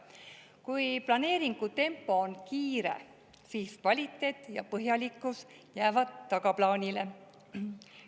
Kui planeeringutempo on kiire, siis kvaliteet ja põhjalikkus jäävad tagaplaanile.